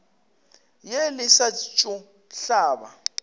ye le sa tšo hlaba